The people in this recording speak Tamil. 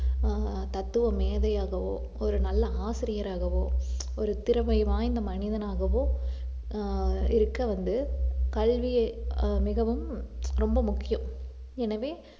ஆஹ் தத்துவ மேதையாகவோ ஒரு நல்ல ஆசிரியராகவோ ஒரு திறமை வாய்ந்த மனிதனாகவோ ஆஹ் இருக்க வந்து கல்வியை ஆஹ் மிகவும் ரொம்ப முக்கியம் எனவே